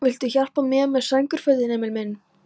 Viltu hjálpa mér með sængurfötin, Emil minn?